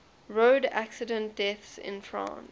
road accident deaths in france